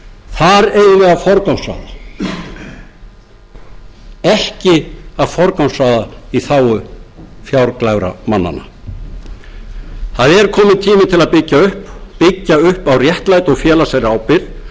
þar eigum við að forgangsraða ekki að forgangsraða í þágu fjárglæframannanna það er kominn tími til að byggja upp byggja upp á réttlæti og félagslegri ábyrgð og